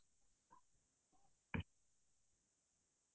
অহ্‌ আছোঁ মৃদুস্মিতা কোৱা